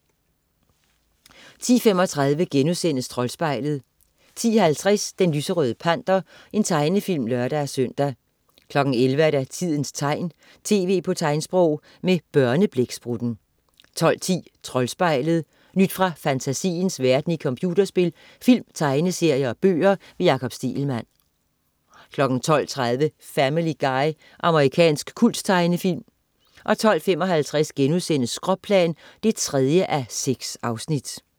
10.35 Troldspejlet* 10.50 Den lyserøde Panter. Tegnefilm (lør-søn) 11.00 Tidens tegn, tv på tegnsprog. Med Børneblæksprutten 12.10 Troldspejlet. Nyt fra fantasiens verden i computerspil, film, tegneserier og bøger. Jakob Stegelmann 12.30 Family Guy. Amerikansk kulttegnefilm 12.55 Skråplan 3:6*